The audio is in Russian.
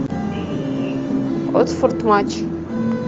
уотфорд матч